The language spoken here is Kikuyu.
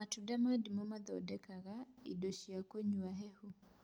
Matunda ma ndimũ mahũthĩka gũthondeka indo cia kũnywa hehu